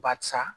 Barisa